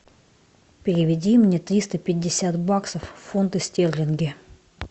переведи мне триста пятьдесят баксов в фунты стерлинги